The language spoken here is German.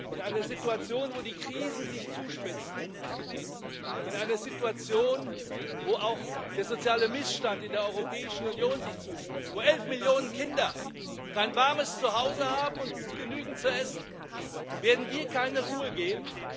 In einer Situation, in der die Krisen sich zuspitzen, in einer Situation, in der auch der soziale Missstand in der Europäischen Union sich zuspitzt, wo elf Millionen Kinder kein warmes Zuhause und nicht genügend zu essen haben, werden wir keine Ruhe geben.